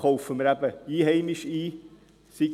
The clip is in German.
Kaufen wir Einheimisches?